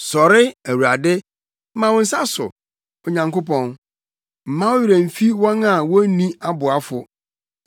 Sɔre, Awurade! Ma wo nsa so, Onyankopɔn. Mma wo werɛ mfi wɔn a wonni aboafo.